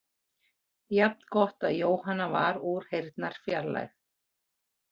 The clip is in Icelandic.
Jafn gott að Jóhanna var úr heyrnarfjarlægð.